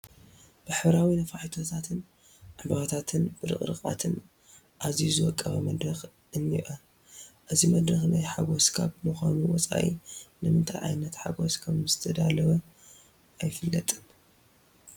ብሕብራዊ ነፋሒቶታት፣ ዕምበባታትን ብርቕሪቓትን ኣዝዩ ዝወቀበ መድረኽ እኒአ፡፡ እዚ መድረኽ ናይ ሓጐስ ካብ ምዃኑ ወፃኢ ንምንታይ ዓይነት ሓጐስ ከምዝተዳለወ ኣይፍለጥን፡፡